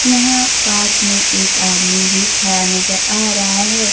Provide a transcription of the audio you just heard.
यहां पास में एक आदमी भी खड़ा नजर आ रहा है।